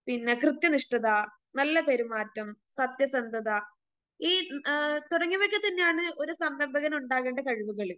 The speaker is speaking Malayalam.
പിന്നെ കൃത്യനിഷ്ഠത, നല്ല പെരുമാറ്റം, സത്യസന്ധത, ഈ ആ തുടങ്ങിയവയൊക്കെത്തന്നെയാണ് ഒരു സംരംഭകന് ഉണ്ടാകേണ്ട കഴിവുകൾ.